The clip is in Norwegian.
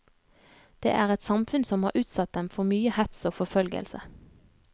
Det er et samfunn som har utsatt dem for mye hets og forfølgelse.